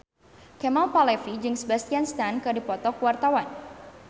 Kemal Palevi jeung Sebastian Stan keur dipoto ku wartawan